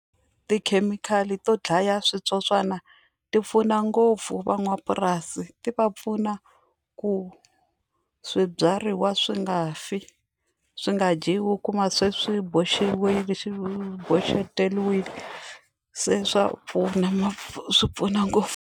Tikhemikhali to dlaya switsotswana ti pfuna ngopfu van'wapurasi ti va pfuna ku swibyariwa swi nga fi swi nga dyiwi u kuma se swi boxiwile xi boxeteriwile se swa pfuna ma swi pfuna ngopfu.